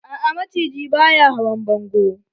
A'a, maciji ba ya hawan bongo.